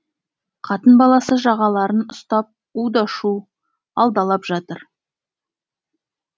қатын баласы жағаларын ұстап у да шу алдалап жатыр